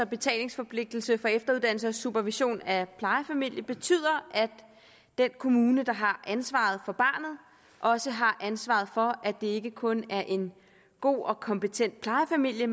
betalingsforpligtelsen for efteruddannelse og supervision af plejefamilier betyder at den kommune der har ansvaret for barnet også har ansvaret for at det ikke kun er en god og kompetent plejefamilie